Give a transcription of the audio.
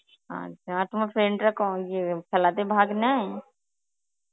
আচ্ছা আর তোমার friend রা ক ইয়ে খেলাতে ভাগ নেয়?